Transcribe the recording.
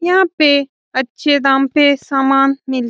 यहाँ पे अच्छे दाम पे समान मिल --